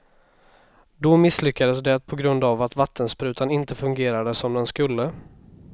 Då misslyckades det på grund av att vattensprutan inte fungerade som den skulle.